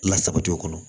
Lasabati o kɔnɔ